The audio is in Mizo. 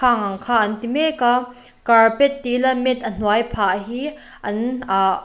khang ang kha an ti mek a carpet tih ila mat a hnuai phah hi an ah--